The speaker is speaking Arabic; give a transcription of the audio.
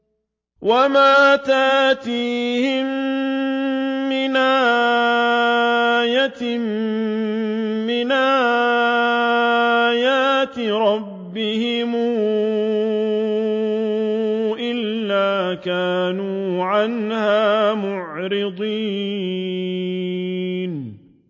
وَمَا تَأْتِيهِم مِّنْ آيَةٍ مِّنْ آيَاتِ رَبِّهِمْ إِلَّا كَانُوا عَنْهَا مُعْرِضِينَ